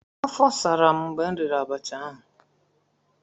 afo saram mgbe m riri abacha ahu.